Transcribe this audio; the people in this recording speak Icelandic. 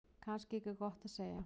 Kannski ekki gott að segja.